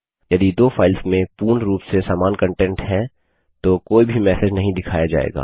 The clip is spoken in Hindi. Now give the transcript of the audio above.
यदि दो फाइल्स में पूर्ण रूप से समान कंटेंट है तो कोई भी मैसेज नहीं दिखाया जायेगा